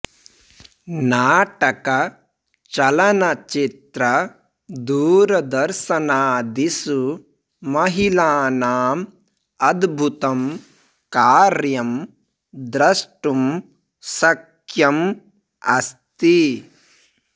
नाटक चलनचित्र दूरदर्शनादिषु महिलानां अद्भुतं कार्यं द्रष्टुं शक्यम् अस्ति